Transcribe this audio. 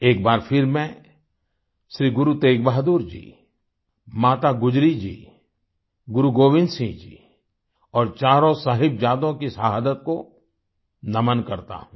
एक बार फिर मैं श्री गुरु तेग बहादुर जी माता गुजरी जी गुरु गोविंद सिंह जी और चारों साहिबजादों की शहादत को नमन करता हूं